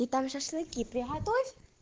и так шашлыки приготовить